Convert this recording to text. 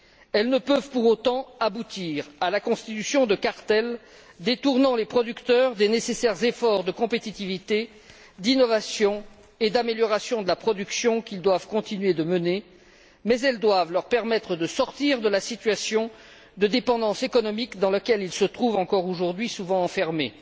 Elles ne peuvent pour autant aboutir à la constitution de cartels détournant les producteurs des nécessaires efforts de compétitivité, d'innovation et d'amélioration de la production, qu'ils doivent continuer de mener, mais elles doivent leur permettre de sortir de la situation de dépendance économique dans laquelle ils se trouvent, encore aujourd'hui, souvent enfermés.